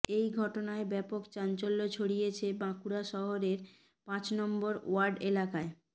এই ঘটনায় ব্যাপক চাঞ্চল্য ছড়িয়েছে বাঁকুড়া শহরের পাঁচ নম্বর ওয়ার্ড এলাকায়